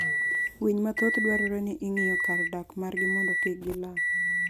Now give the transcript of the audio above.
Winy mathoth dwarore ni ing'iyo kar dak margi mondo kik gi lal